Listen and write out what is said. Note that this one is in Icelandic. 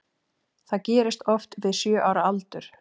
Það gerist oft við sjö ára aldur.